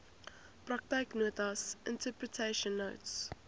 praktyknotas interpretation notes